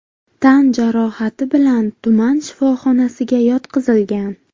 tan jarohati bilan tuman shifoxonasiga yotqizilgan.